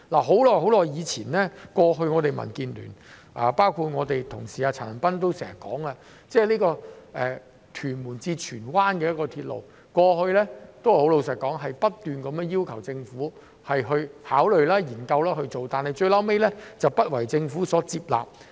很久以前，我們民主建港協進聯盟，包括我們的同事陳恒鑌議員，也多次提出興建屯門至荃灣的鐵路，而坦白說，過去我們均不斷要求政府考慮和研究，但最後都不獲政府接納。